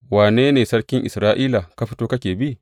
Wane ne sarkin Isra’ila, ka fito kake bi?